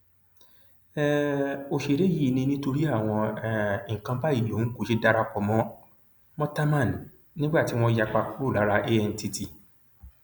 um òṣèré yìí ni nítorí àwọn um nǹkan báyìí lòun kò ṣe darapọ mọ mọ támán nígbà tí wọn yapa kúrò lára antt